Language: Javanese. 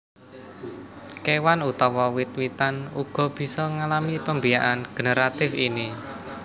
Kewan utawa wit witan uga bisa ngalami pembiakan generatif ini